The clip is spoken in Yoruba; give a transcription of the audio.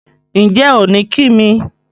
Ǹjẹ́ ò ní kí mi?